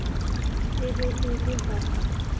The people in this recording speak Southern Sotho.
e be e le ha